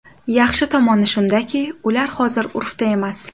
Yaxshi tomoni shundaki, ular hozir urfda emas.